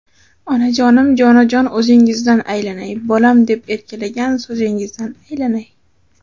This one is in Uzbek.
Onajonim, jonajon o‘zingizdan aylanay, Bolam deb erkalagan so‘zingizdan aylanay.